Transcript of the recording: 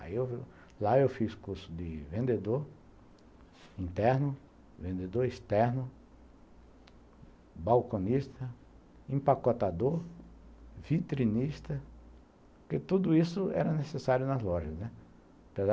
Aí, eu, lá eu fiz curso de vendedor interno, vendedor externo, balconista, empacotador, vitrinista, porque tudo isso era necessário nas lojas, né, apesar